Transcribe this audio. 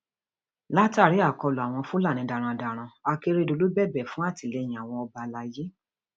látàrí àkọlù àwọn fúlàní darandaran akérèdọlù bẹbẹ fún àtìlẹyìn àwọn ọba alaye